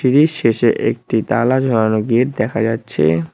শেষে একটি তালা ঝোলানো গেট দেখা যাচ্ছে।